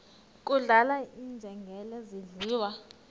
kudlala iinjengele zidliwa